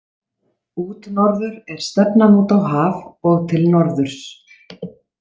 Útnorður er stefnan út á haf og til norðurs.